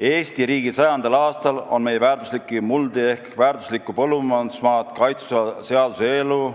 Eesti riigi 100. aastal on meie väärtuslikke muldi ehk väärtuslikku põllumajandusmaad kaitsev seaduseelnõu,